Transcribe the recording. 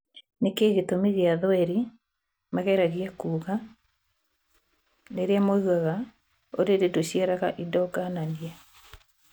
Nĩkĩĩ gĩtũmi gĩa thweri mageragia kuga rĩrĩa maugaga " ũrĩrĩ ndũciaraga indo ngananie"